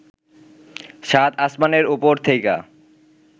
সাত আসমানের ওপর থেইকা